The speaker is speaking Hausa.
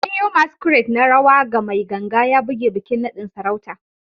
Eyo masquerade na rawa ga mai ganga ya buge bikin nadin sarauta